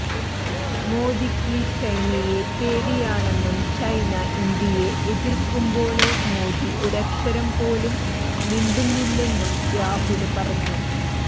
മോദിക്ക് ചൈനയെ പേടിയാണെന്നും ചൈന ഇന്ത്യയെ എതിര്ക്കുമ്പോള് മോദി ഒരക്ഷരം പോലും മിണ്ടുന്നില്ലെന്നും രാഹുല് പറഞ്ഞു